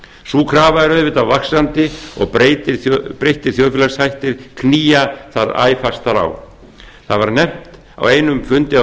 sú krafa er auðvitað vaxandi og breyttir þjóðfélagshættir knýja þar æ fastar á það var nefnt á einum fundi af